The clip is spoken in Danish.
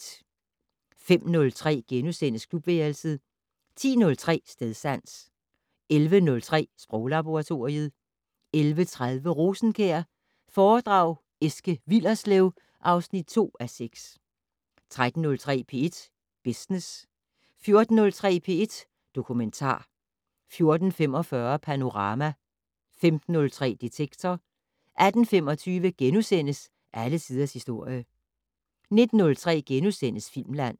05:03: Klubværelset * 10:03: Stedsans 11:03: Sproglaboratoriet 11:30: Rosenkjær foredrag Eske Willerslev (2:6) 13:03: P1 Business 14:03: P1 Dokumentar 14:45: Panorama 15:03: Detektor 18:25: Alle tiders historie * 19:03: Filmland *